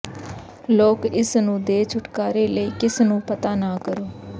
ਲੋਕ ਇਸ ਨੂੰ ਦੇ ਛੁਟਕਾਰੇ ਲਈ ਕਿਸ ਨੂੰ ਪਤਾ ਨਾ ਕਰੋ